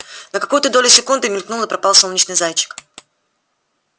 на какую-то долю секунды мелькнул и пропал солнечный зайчик